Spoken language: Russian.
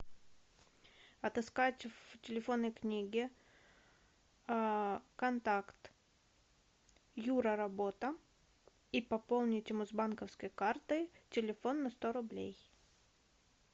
отыскать в телефонной книге контакт юра работа и пополнить ему с банковской карты телефон на сто рублей